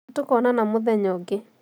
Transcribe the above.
Nĩtũkoonana mũthenya ũngĩ